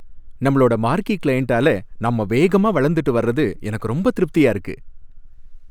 நம்மளோட மார்க்கீ கிளையண்டால நாம வேகமாக வளர்ந்துட்டு வர்றது எனக்கு ரொம்ப திருப்தியா இருக்கு.